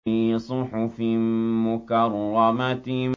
فِي صُحُفٍ مُّكَرَّمَةٍ